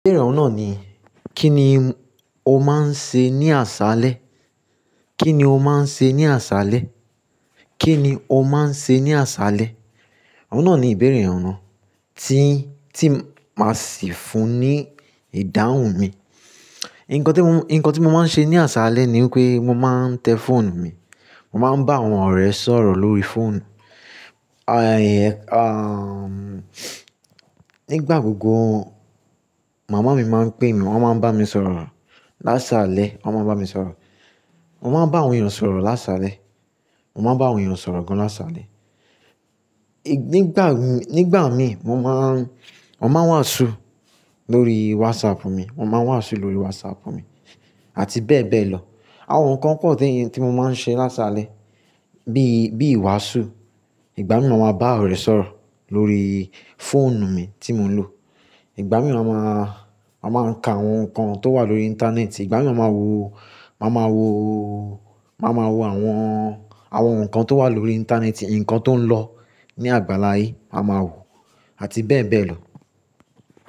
Ìbéèrè ọ̀hun naà ni, kí ni o máa ń ṣe ní àṣálẹ́? Kí ni o máa ń ṣe ní àṣálẹ́? Kí ni o máa ń ṣe ní àṣálẹ́? Ọ̀hun naà ni ìbéèrè ọ̀un nà tí, tí máa sìí fún ní ìdáhùn mi. Ǹkan tí mo, ǹkan tí mo máa ń ṣe ní àṣálẹ́ ni wi pé mo máa ń tẹ fóònù mi. Mo máa ń bá àwọn ọ̀rẹ́ sọ̀rọ̀ lórí fóònù. Nígbà gbogbo màmá mi máa ń pé mi, wọn máa ń bá mi sọ̀rọ̀ lásalẹ́, wọ́n máa ń bá mi sọ̀rọ̀. Mo máa ń bá àwọn èèyàn sọ̀rọ̀ lásalẹ́. Mo máa ń bá àwọn èèyàn sọ̀rọ̀ gan lásalẹ́. Nígbà, nígbà mi mo máa ń, wọn máa ń wàásù lórí WhatsApp mi. Wọn máa ń wàásù lórí WhatsApp mi àti bẹ́ẹ̀ bẹ́ẹ̀ lọ. Àwọn ǹkan pọ̀ tí, tí mo máa ń ṣe lásalẹ́ bí, bí wàásù. Ìgbà mìí máa máa bá ọ̀rẹ́ sọ̀rọ̀ lórí fóònù mi tí mò ń lò. Ìgbà mìíràn máa máa, máa máa ka àwọn ǹkan tó wà lórí íńtánẹ́ẹ̀tì. Ìgbà mìíràn máa ma wo, máa ma wo, máa ma wo àwọn, àwọn ǹkan tó wà lórí íńtánẹ́ẹ̀tì, ǹkan tó ń lọ ní àgbàlá aye, a máa wò àti bẹ́ẹ̀ bẹ́ẹ̀ lọ.